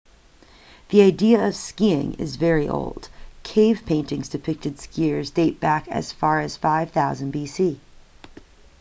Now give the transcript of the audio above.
the idea of skiing is very old cave paintings depicting skiers date back as far as 5000 bc